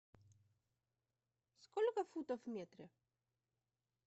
сколько футов в метре